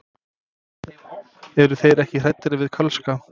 Eru þeir ekkert hræddir við Kölska?